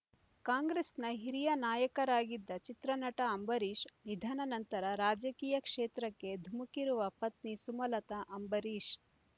ಕಾಂಗ್ರೆಸ್‌ನ ಹಿರಿಯ ನಾಯಕರಾಗಿದ್ದ ಚಿತ್ರನಟ ಅಂಬರೀಷ್ ನಿಧನ ನಂತರ ರಾಜಕೀಯ ಕ್ಷೇತ್ರಕ್ಕೆ ಧುಮುಕಿರುವ ಪತ್ನಿ ಸುಮಲತಾ ಅಂಬರೀಷ್